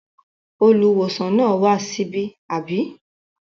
Olùwòsàn náà wá síbí, àbí?